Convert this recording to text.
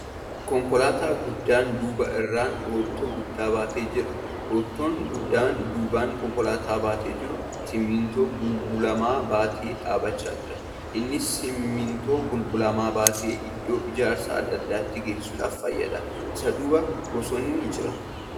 Konkolaataa guddaan duuba irraan roottoo guddaa baatee jira. Roottoon guddaan duubaan konkolaataan baatee jiru simintoo bulbulamaa baatee dhaabbachaa jira. Innis Simintoo bulbulamaa baatee iddoo ijaarsaa adda addatti geessuuf fayyada. Isa duuba bosonni jira.